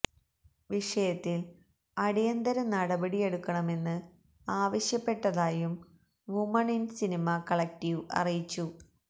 വിഷയത്തിൽ അടിയന്തര നടപടിയെക്കണമെന്ന് ആവശ്യപ്പെട്ടതായും വുമൺ ഇൻ സിനിമ കളക്ടീവ് അറിയിച്ചു